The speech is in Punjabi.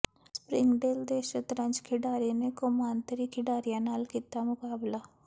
ਸਪਰਿੰਗ ਡੇਲ ਦੇ ਸ਼ਤਰੰਜ ਖਿਡਾਰੀ ਨੇ ਕੌਮਾਂਤਰੀ ਖਿਡਾਰੀਆਂ ਨਾਲ ਕੀਤਾ ਮੁਕਾਬਲਾ